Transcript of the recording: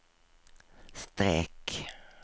streck